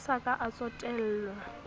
a sa ka a tsotellwa